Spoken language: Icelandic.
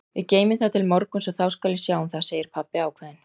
Við geymum það til morguns og þá skal ég sjá um það, segir pabbi ákveðinn.